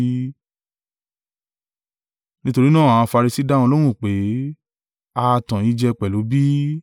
Nítorí náà àwọn Farisi dá wọn lóhùn pé, “A ha tan ẹ̀yin jẹ pẹ̀lú bí?